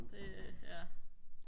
det ja